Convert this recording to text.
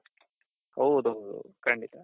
ಹೌದೌದೌದು ಖಂಡಿತ